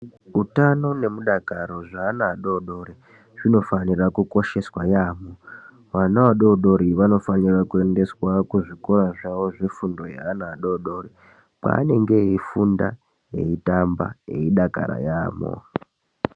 Utano nemudakaro zveana adodori zvinofanira kukosheswa yaampho. Vana vadodori vanofanira kuendeswa kuzvikora zvavo zvefundo yeana adodori kwavanenge eifunda, eitamba, eidakara yaampho.